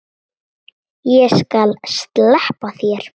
Ég skal sleppa þér.